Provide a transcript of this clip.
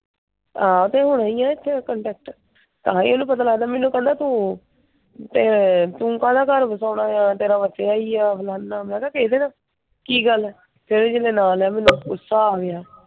ਆਹੋ ਤੇ ਹੋਣਾ ਹੀ ਆ ਇਥੇ ਕੰਟੈਕਟ। ਹਾਂ ਇਹਨੂੰ ਪਤਾ ਲਗਦਾ ਮੈਨੂੰ ਕਹਿੰਦਾ ਤੂੰ ਤੇ ਤੂੰ ਕਾਹਦਾ ਘਰ ਵਸਾਉਣਾ ਆ। ਤੇਰਾ ਵਸਿਆ ਹੀ ਆ, ਫਲਾਣਾ। ਮੈਂ ਕਿਹਾ ਕਿਹਦੇ ਨਾਲ? ਕਿ ਗੱਲ ਆ? ਫਿਰ ਇਹਨੇ ਜਦੋਂ ਨਾ ਲਿਆ ਮੈਨੂੰ ਗੁੱਸਾ ਆ ਗਿਆ।